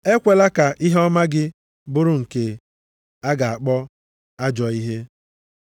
Ekwela ka ihe ọma gị bụrụ nke a ga-akpọ ajọọ ihe.